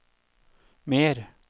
mer